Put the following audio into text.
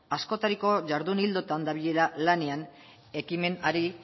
askotariko jardun ildoetan dabilela lanean ekimenari